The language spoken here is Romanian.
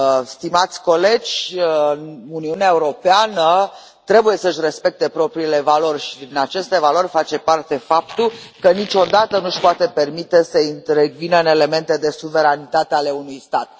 Stimați colegi, Uniunea Europeană trebuie să își respecte propriile valori și din aceste valori face parte faptul că niciodată nu își poate permite să intervină în elemente de suveranitate ale unui stat.